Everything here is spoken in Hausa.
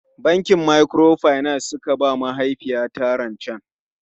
Bankin Microfinance suka ba mahaifiyata rancen.